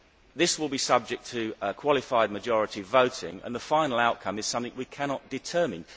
this will be subject to qualified majority voting and the final outcome is something we cannot determine?